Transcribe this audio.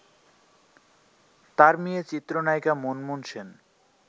তার মেয়ে চিত্রনায়িকা মুনমুন সেন